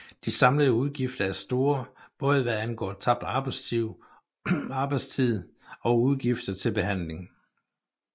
De samlede udgifter er store både hvad angår tabt arbejdstid og udgifter til behandling